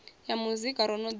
ya muzika ro no ḓi